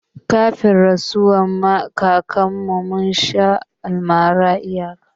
Kafin rasuwar kakar mu, mun sha almara ba iyaka